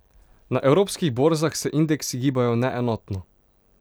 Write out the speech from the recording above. Na evropskih borzah se indeksi gibajo neenotno.